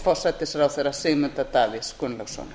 forsætisráðherra sigmundar davíðs gunnlaugssonar